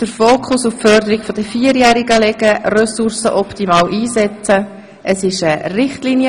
Wir führen demnach eine reduzierte Debatte.